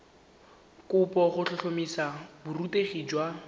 kopo go tlhotlhomisa borutegi jwa